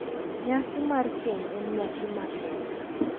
Nyasi mar keny en nyasi makende